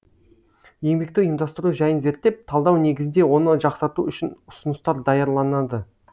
еңбекті ұйымдастыру жайын зерттеп талдау негізінде оны жақсарту үшін ұсыныстар даярланады